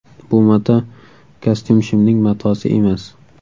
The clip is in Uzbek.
Bu mato kostyum-shimning matosi emas.